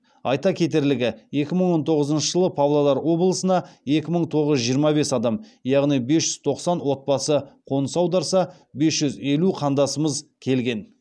айта кетерлігі екі мың он тоғызыншы жылы павлодар облысына екі мың тоғыз жүз жиырма бес адам яғни бес жүз тоқсан отбасы қоныс аударса бес жүз елу қандасымыз келген